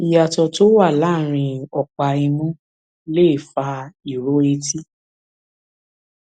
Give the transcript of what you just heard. ìyàtọ tó wà láàárín ọpá imú lè fa ìró etí